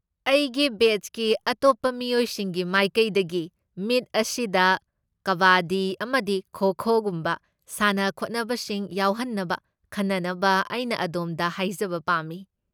ꯑꯩꯒꯤ ꯕꯦꯆꯀꯤ ꯑꯇꯣꯞꯄ ꯃꯤꯌꯣꯏꯁꯤꯡꯒꯤ ꯃꯥꯏꯀꯩꯗꯒꯤ, ꯃꯤꯠ ꯑꯁꯤꯗ ꯀꯕꯥꯗꯤ ꯑꯃꯁꯨꯡ ꯈꯣ ꯈꯣꯒꯨꯝꯕ ꯁꯥꯟꯅ ꯈꯣꯠꯅꯕꯁꯤꯡ ꯌꯥꯎꯍꯟꯅꯕ ꯈꯟꯅꯅꯕ ꯑꯩꯅ ꯑꯗꯣꯝꯗ ꯍꯥꯏꯖꯕ ꯄꯥꯝꯃꯤ꯫